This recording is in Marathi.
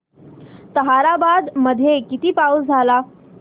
ताहराबाद मध्ये किती पाऊस झाला